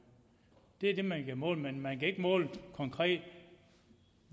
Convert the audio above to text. det er det man kan måle men man kan ikke måle konkret